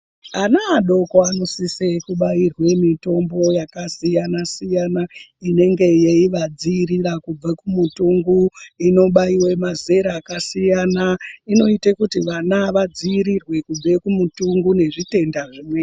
Ana adoko anosise kubairwe mithombo yakasiyana-siyana inenge yeivadziirira kubve kumithongo inobayiwe mazera kakasiyana inoite kuthi vana vadziirirwe kubve kumuthungo nezvithenda zvimweni.